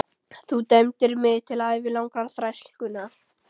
Þú dæmdir mig til ævilangrar þrælkunar!